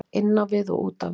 Inn á við og út á við.